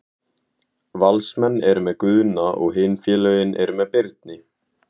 Valsmenn eru með Guðna og hin félögin eru með Birni.